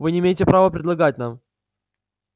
вы не имеете права предлагать нам